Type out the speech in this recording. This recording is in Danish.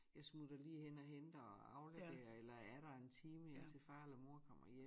Jeg smutter lige hen og henter og afleverer eller er der en time indtil far eller mor kommer hjem